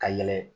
Ka yɛlɛ